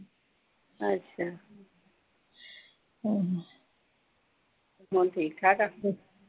ਅੱਛਾ ਹੁਣ ਠੀਕ-ਠਾਕ ਆ।